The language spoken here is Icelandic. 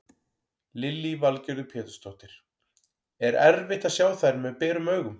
Lillý Valgerður Pétursdóttir: Er erfitt að sjá þær með berum augum?